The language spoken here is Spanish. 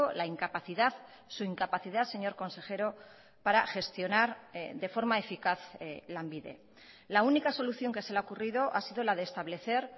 la incapacidad su incapacidad señor consejero para gestionar de forma eficaz lanbide la única solución que se le ha ocurrido ha sido la de establecer